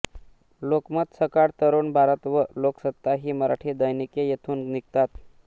लोकमत सकाळ तरुण भारत व लोकसत्ता ही मराठी दैनिके येथून निघतात